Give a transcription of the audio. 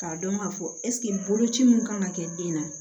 K'a dɔn k'a fɔ ɛseke boloci min kan ka kɛ den na